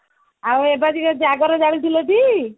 ଆଉ ଏ ବର୍ଷ ଜାଗର ଜାଲିଥିଲ କି